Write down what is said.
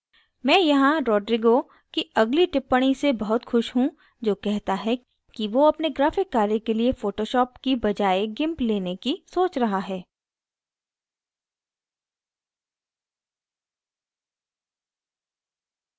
मैं यहाँ rodrigo rodrigo की अगली टिप्पणी से बहुत खुश he जो कहता है कि who अपने graphic कार्य के लिए photoshop की बजाय gimp लेने की सोच रहा है